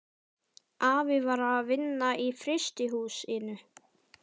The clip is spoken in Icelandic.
Afi var að vinna í frystihús- inu.